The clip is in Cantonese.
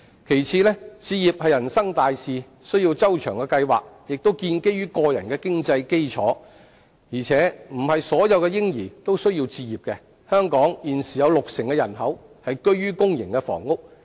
其次，置業是人生大事，需要周詳計劃，亦建基於個人的經濟基礎，而且並非所有嬰兒皆要置業，如香港現時有六成人口居於公營房屋。